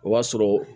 O b'a sɔrɔ